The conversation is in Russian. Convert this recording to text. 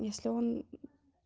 если он